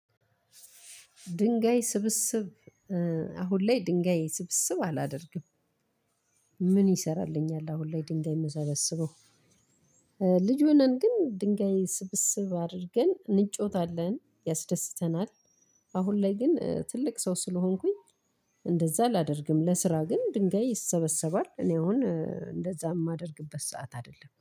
ድንጋይ ስብስብ አሁን ላይ ድንጋይ ስብስብ አላደርግም። ምን ይሰራልኛል? አሁን ላይ ድንጋይ የምሰበስበው። ልጅ ሆነን ግን ድንጋይ ስብስብ አድርገን እንጫወታለን ያስደስተናል። አሁን ላይ ግን ትልቅ ሰው ስለሆንኩኝ እንደዚያ አላደርግም። ለስራ ግን ድንጋይ ይሰበስባል እኔ አሁን እንደዚያ የማደርግበት ሰዓት አይደለም